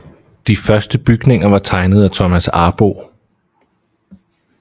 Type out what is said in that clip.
De første bygninger var tegnet af Thomas Arboe